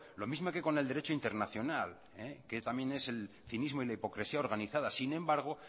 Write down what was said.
lo mismo que con el derecho internacional que también es el cinismo y la hipocresía organizadas sin embargo